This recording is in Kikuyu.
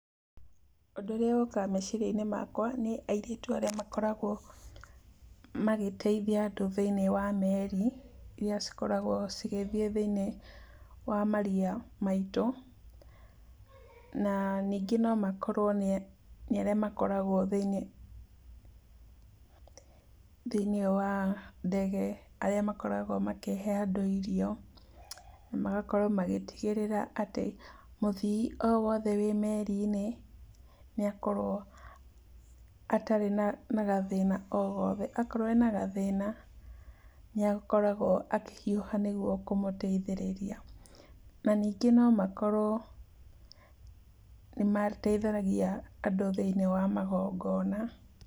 Ũndũ ũrĩa ũkaga meciaria-inĩ makwa, nĩ airĩtu arĩa makoragwo magĩteithia andũ thĩiniĩ wa meri iria cikoragwo cigĩthiĩ thĩiniĩ wa maria maitũ, na ningĩ no makorwo nĩ, nĩ arĩa makoragwo thĩiniĩ, thĩiniĩ wa ndege, arĩa makoragwo makĩhe andũ irio, magakorwo magĩtigĩrĩra atĩ mũthii o wothe wĩ meri-inĩ, nĩ akorwo atarĩ na gathĩna o gothe. Akorwo ena gathĩna, nĩ akoragwo akĩhiũha nĩguo kũmũteithĩrĩria, na ningĩ no makorwo nĩ mateithagia andũ thĩiniĩ wa magongona.